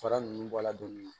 Fara ninnu bɔ a la dɔɔni